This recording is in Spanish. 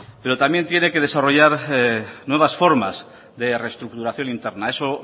pero también tiene que desarrollar nuevas formas de reestructuración interna eso